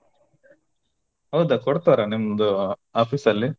ಹೌದಾ ಕೊಡ್ತಾರ ನಿಮ್ದು office ಅಲ್ಲಿ.